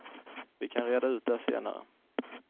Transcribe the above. Vi kan reda ut det senare.